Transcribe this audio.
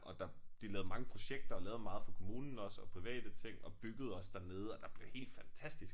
Og der de lavede mange projekter og lavede meget for kommunen også og private ting og byggede også dernede og der blev helt fantastisk